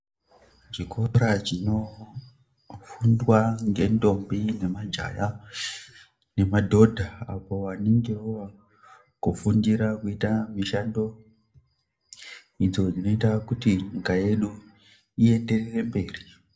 Chikora chinofundwa ngendombi nemajaja nemadhodha, apo vanenge vova kufundira kuita mishando idzodzinoita kuti nyika yedu ienderere mberi.